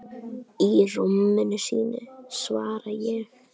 Í rúminu sínu, svara ég.